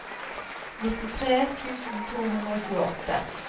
nittitre tusen to hundre og tjueåtte